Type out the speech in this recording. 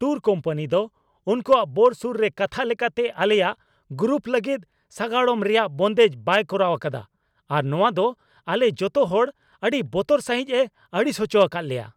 Tour company ᱫᱚ ᱩᱱᱠᱩᱭᱟᱜ ᱵᱳᱨᱥᱩᱨ ᱨᱮ ᱠᱟᱛᱷᱟ ᱞᱮᱠᱟᱛᱮ ᱟᱞᱮᱭᱟᱜ ᱜᱨᱩᱯ ᱞᱟᱹᱜᱤᱫ ᱥᱟᱜᱟᱲᱚᱢ ᱨᱮᱭᱟᱜ ᱵᱚᱱᱫᱮᱡ ᱵᱟᱭ ᱠᱚᱨᱟᱣ ᱟᱠᱟᱫᱟ ᱟᱨ ᱱᱚᱶᱟ ᱫᱚ ᱟᱞᱮ ᱡᱚᱛᱚ ᱦᱚᱲ ᱟᱹᱰᱤ ᱵᱚᱛᱚᱨ ᱥᱟᱹᱦᱤᱡ ᱮ ᱟᱹᱲᱤᱥ ᱦᱚᱪᱚ ᱟᱠᱟᱫ ᱞᱮᱭᱟ ᱾